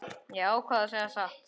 Ég ákvað að segja satt.